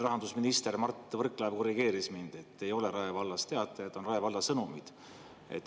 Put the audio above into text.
Rahandusminister Mart Võrklaev korrigeeris mind: Rae vallas ei ole teatajat, on Rae Sõnumid.